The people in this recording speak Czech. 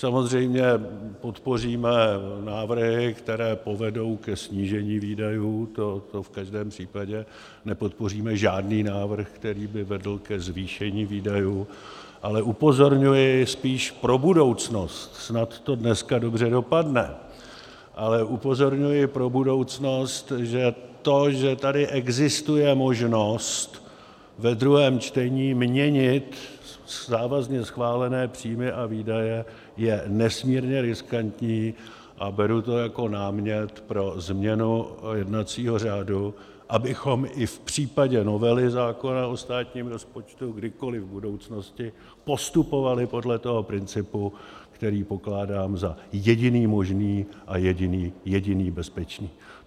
Samozřejmě podpoříme návrhy, které povedou ke snížení výdajů, to v každém případě, nepodpoříme žádný návrh, který by vedl ke zvýšení výdajů, ale upozorňuji spíš pro budoucnost - snad to dneska dobře dopadne - ale upozorňuji pro budoucnost, že to, že tady existuje možnost ve druhém čtení měnit závazně schválené příjmy a výdaje, je nesmírně riskantní, a beru to jako námět pro změnu jednacího řádu, abychom i v případě novely zákona o státním rozpočtu kdykoliv v budoucnosti postupovali podle toho principu, který pokládám za jediný možný a jediný bezpečný.